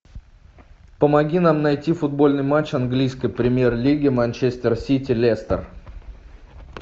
помоги нам найти футбольный матч английской премьер лиги манчестер сити лестер